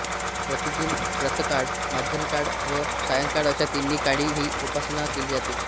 प्रतिदिन प्रातःकाळ माध्यानकाळ व सायंकाळ अशा तिन्ही काळी ही उपासना केली जाते